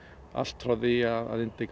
allt frá því að